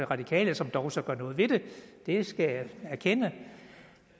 radikale som dog så gør noget ved det det skal jeg erkende